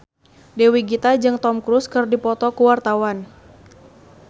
Dewi Gita jeung Tom Cruise keur dipoto ku wartawan